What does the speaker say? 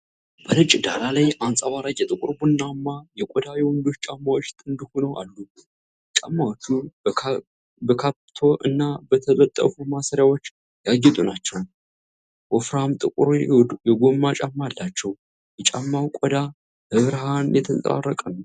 በነጭ ዳራ ላይ አንጸባራቂ ጥቁር ቡናማ የቆዳ የወንዶች ጫማዎች ጥንድ ሆነው አሉ። ጫማዎቹ በካፕቶ እና በተጠለፉ ማሰሪያዎች ያጌጡ ናቸው። ወፍራም ጥቁር የጎማ ጫማ አላቸው። የጫማው ቆዳ በብርሃን የተንጸባረቀ ነውን?